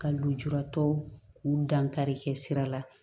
Ka lujuratɔw k'u dankari kɛ sira la